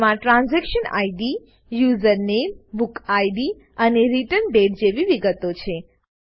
તેમાં transaction ID user નામે book ID અને રિટર્ન દાતે જેવી વિગતો છે